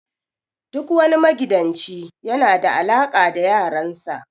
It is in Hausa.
Duk wani magidanci yana da alaka da yaran sa.